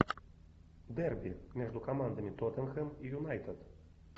дерби между командами тоттенхэм и юнайтед